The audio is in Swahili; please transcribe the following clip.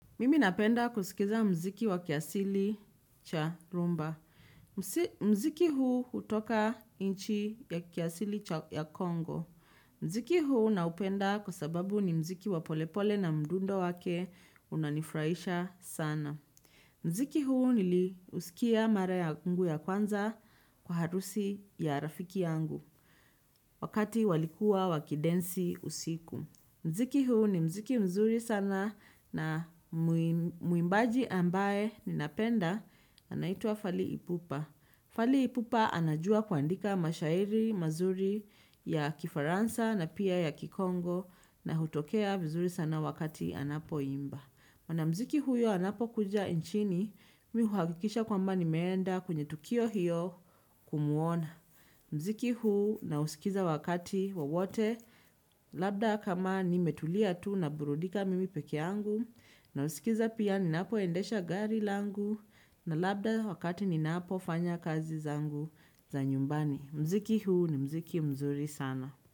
Mimi napenda kusikiza mziki wa kiasili cha rumba. Mziki huu hutoka inchi ya kiasili cha ya Congo. Mziki huu naupenda kwasababu ni mziki wa polepole na mdundo wake unanifurahisha sana. Muziki huu niliusikia mara yangu ya kwanza kwa harusi ya rafiki yangu. Wakati walikuwa waki dance usiku. Muziki huu ni muziki mzuri sana na muimbaji ambaye ninapenda anaitwa Fali Ipupa. Fali Ipupa anajua kuandika mashairi mazuri ya Kifaransa na pia ya Kikongo na hutokea vizuri sana wakati anapo imba. Mwana muziki huyo anapo kuja inchini mimi uhakikisha kwamba nimeenda kwenye tukio hiyo kumuona. Muziki huu na usikiza wakati wowote labda kama nimetulia tu naburudika mimi pekeangu nasikiza pia ninapo endesha gari langu na labda wakati ninapo fanya kazi zangu za nyumbani. Mziki huu ni mziki mzuri sana.